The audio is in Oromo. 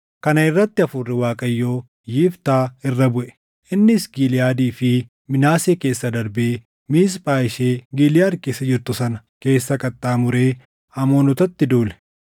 Kana irratti Hafuurri Waaqayyoo Yiftaa irra buʼe. Innis Giliʼaadii fi Minaasee keessa darbee Miisphaa ishee Giliʼaad keessa jirtu sana keessa qaxxaamuree Amoonotatti duule.